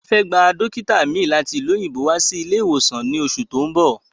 A fẹ́ gba Dókítà mi láti ìlú òyìnbó wá sí ilé ìwòsàn wa ní oṣù tó ún bọ̀